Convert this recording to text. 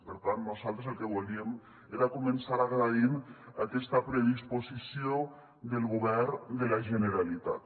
per tant nosaltres el que volíem era començar agraint aquesta predisposició del govern de la generalitat